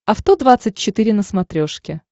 авто двадцать четыре на смотрешке